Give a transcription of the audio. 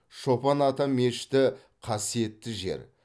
шопан ата мешіті қасиетті жер